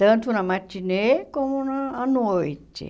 Tanto na matinê como no à noite.